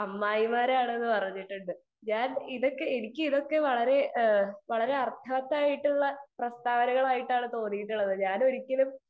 speaker 2 അമ്മായിമാരാണെന്ന് പറഞ്ഞിട്ടുണ്ട് എനിക്ക് ഇതൊക്കെ വളരെ അർത്ഥവത്തായിട്ടുള്ള പ്രസ്താവനകളായിട്ടാണ് തോന്നിയിട്ടുള്ളത്